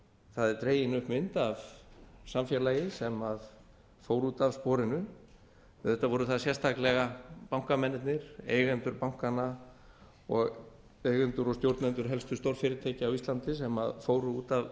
það er dregin upp mynd af samfélagi sem fór út af sporinu auðvitað voru það sérstaklega bankamennirnir eigendur bankanna og eigendur og stjórnendur helstu stórfyrirtækja á íslandi sem fóru út af